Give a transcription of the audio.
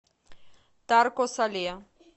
тарко сале